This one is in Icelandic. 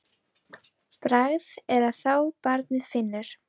Bragð er að þá barnið finnur!